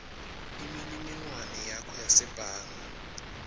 imininingwane yakho yasebhange